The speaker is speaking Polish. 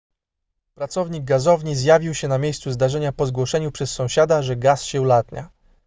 pracownik gazowni zjawił się na miejscu zdarzenia po zgłoszeniu przez sąsiada że gaz się ulatnia